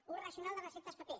ús racional de receptes paper